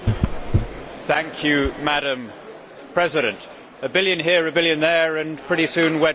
Madam President, a billion here, a billion there, and pretty soon we are talking real money.